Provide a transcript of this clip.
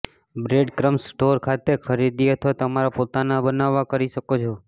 બ્રેડક્રમ્સમાં store ખાતે ખરીદી અથવા તમારા પોતાના બનાવવા કરી શકો છો